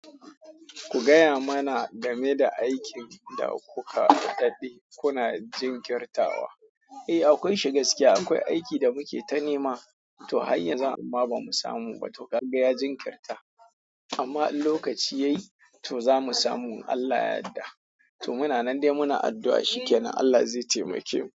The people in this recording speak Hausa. Ku gaya mana game da aikin da kuka daɗe kuna jinkirtawa. Eh, akwai shi gaskiya. Akwai aiki da muke ta nema. To har yanzu amma bamu samu ba. To kaga ya jinkirta. Amma lokaci yayi, to zamu samu Allah yadda. To muna nan dai muna addu'a shi ke nan Allah zai taimake mu.